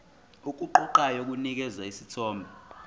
okuqoqayo kunikeza isithombe